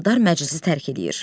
Eldar məclisi tərk edir.